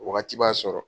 Wagati b'a sɔrɔ